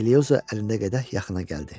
Elioza əlində qədəh yaxına gəldi.